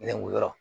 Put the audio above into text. Ne wolo